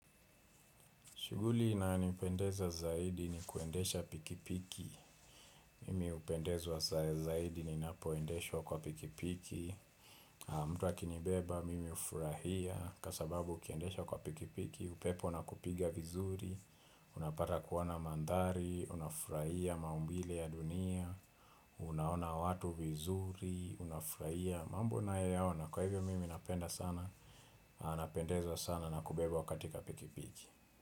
Shughuli inayo nipendeza zaidi ni kuendesha pikipiki. Mimi hupendezwa zaidi ni napoendeshwa kwa pikipiki. Mtu akinibeba, mimi hufurahia kwa sababu ukiendesha kwa pikipiki, upepo una kupiga vizuri. Unapata kuwa na mandari, unafurahia maumbile ya dunia. Unaona watu vizuri, unafurahia. Mambo na yao na kwa hivyo mimi napenda sana. Anapendezwa sana na kubebwa katika pikipiki.